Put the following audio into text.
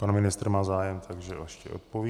Pan ministr má zájem, takže ještě odpoví.